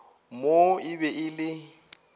moo e be e le